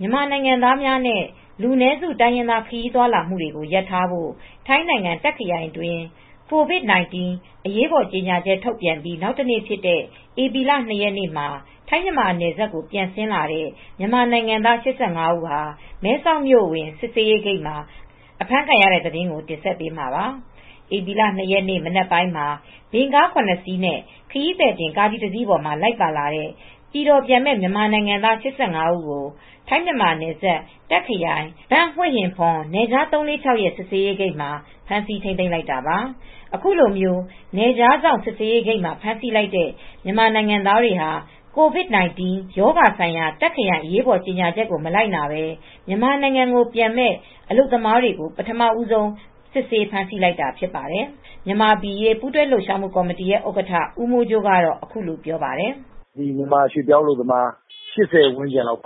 မြန်မာနိုင်ငံသားများနဲ့ လူနည်းစု တိုင်းရင်းသားတွေ ခရီးသွားလာမှုကို ရပ်ထားဖို့ ထိုင်းနိုင်ငံ တာ့ခ်ခရိုင်တွင်း COVID-19 အရေးပေါ်ကြေငြာချက် ထုတ်ပြန်ပြီး နောက်တနေ့ ဖြစ်တဲ့ ဧပြီ ၂ ရက်နေ့မှာ ထိုင်းမြန်မာနယ်စပ်ကို ပြန်ဆင်းလာတဲ့ မြန်မာနိုင်ငံသား ၈၅ ဦး ဟာ မဲဆောက်မြို့အဝင် စစ်ဆေးရေးဂိတ်မှာ အဖမ်းခံရတဲ့ သတင်းကို တင်ဆက်ပေးမှာပါ။ ဧပြီလ ၂ ရက်နေ့ မနက်ပိုင်းမှာ ဗင်ကား ၇ နှစ်စီးနဲ့ ခရီးသည်တင်ကားကြီးတစ်စီးပေါ်မှာ လိုက်ပါလာတဲ့ ပြည်တော်ပြန်မယ့် မြန်မာနိုင်ငံသား ၈၅ ဦးကို ထိုင်းမြန်မာနယ်စပ် တာ့ခ်ခရိုင် ဘန့်ဟွေ့ဟင်ဖွန်နယ်ခြား ၃၄၆ ရဲစစ်ဆေးရေးဂိတ်မှာ ဖမ်းဆီးထိန်းသိမ်းလိုက်တာပါ။ အခုလို နယ်ခြားစောင့် စစ်ဆေးရေးဂိတ်မှာ ဖမ်းဆီးလိုက်တဲ့ မြန်မာနိုင်ငံသားတွေဟာ COVID-19 ရောဂါဆိုင်ရာ တော့ခ်ရိုင် အရေးပေါ်ကြေငြာချက်ကို မလိုက်နာဘဲ မြန်မာနိုင်ငံပြန်မယ့် အလုပ်သမားတွေကို ပထမဆုံး စစ်ဆေးဖမ်းဆီးလိုက်တာဖြစ်ပါတယ်။ မြန်မာပြည်အရေးပူးတွဲလှုပ်ရှားမှု ကော်မတီဥက္ကဋ္ဌ ဦးမိုးကြိုး အခုလိုပြောပါတယ်။ '"မြန်မာအလုပ်သမား ၈၀ ဝန်းကျင်းလော